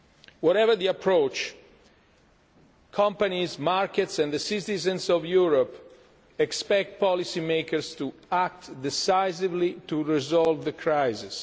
Whatever the approach, companies, markets and the citizens of Europe expect policy makers to act decisively to resolve the crisis.